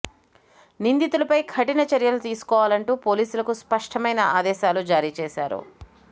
నిందితులపై కఠిన చర్యలు తీసుకోవాలంటూ పోలీసులకు స్పష్టమైన ఆదేశాలు జారీ చేశారు